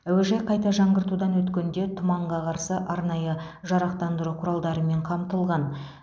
әуежай қайта жаңғыртудан өткенде тұманға қарсы арнайы жарықтандыру құралдарымен қамтылған